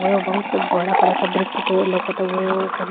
ओजा बहुत स बड़ा-बड़ा सा वृक्ष लोकत उहे ओकर --